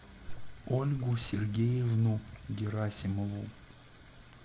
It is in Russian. ольгу сергеевну герасимову